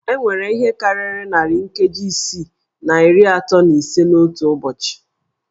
E nwere ihe karịrị narị nkeji isii na iri atọ na ise n'otu ụbọchị